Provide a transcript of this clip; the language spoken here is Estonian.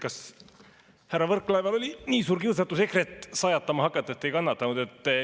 Kas härra Võrklaeval oli nii suur kiusatus EKRE-t sajatama hakata, et ei kannatanud?